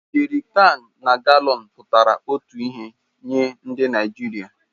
Jerikans na galọns pụtara otu ihe nye ndị Naijiria